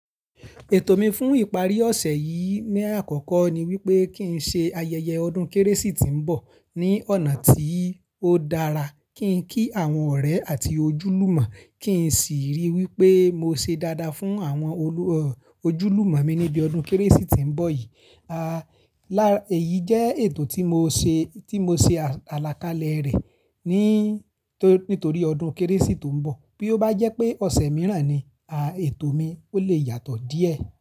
Ètò mi fún ìparí ọ̀sẹ̀ yìí ní àkọ́kọ́ ni wípé kí n ṣe ayẹyẹ ọdún Kérésì tí ń bọ̀ ní ọ̀nà tí ó dára, kí n kí àwọn ọ̀rẹ́ àti ojúlùmọ, kí n sì ríi wípé mo ṣe dáadáa fún àwọn olú, ọ, ojúlùmọ mi níbi ọdún Kérésì tí ń bọ̀ yìí. A, lá, èyí jẹ́ ètò tí mo ṣe, tí mo ṣe àlàkalẹ̀ rẹ̀ ní, tó, nítorí ọdún Kérésì tó ń bọ̀. Bí ó bá jẹ́ pé ọ̀sẹ̀ mìíràn ni, a, ètò mi ó lè yàtọ̀ díẹ̀.